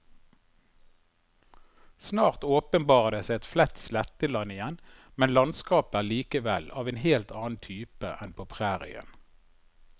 Snart åpenbarer det seg et flatt sletteland igjen, men landskapet er likevel av en helt annen type enn på prærien.